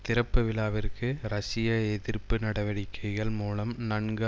திறப்பு விழாவிற்கு ரஷ்ய எதிர்ப்பு நடவடிக்கைகள் மூலம் நன்கு